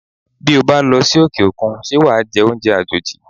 Bí ó bá losi òkè-òkun, ṣé wàá jẹ oúnjẹ àjòjì?